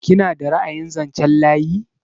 Kina da ra'ayin zanchen layi?